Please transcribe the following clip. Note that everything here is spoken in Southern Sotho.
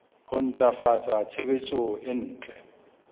ho ntlafatsa tshebetso e ntle